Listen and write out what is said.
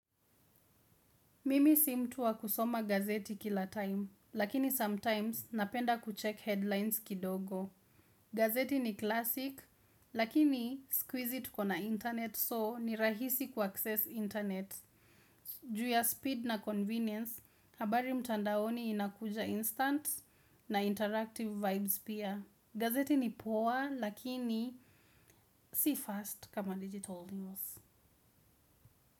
Mimi si mtu wa kusoma gazeti kila time, lakini sometimes napenda kucheck headlines kidogo. Gazeti ni classic, lakini siku hizi tukona internet soo ni rahisi kua access internet. Ju ya speed na convenience, habari mtandaoni inakuja instant na interactive vibes pia. Gazeti ni poa lakini si fast kama digital news.